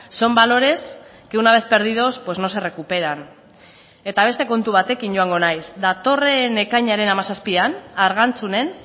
son valores que una vez perdidos pues no se recuperan eta beste kontu batekin joango naiz datorren ekainaren hamazazpian argantzunen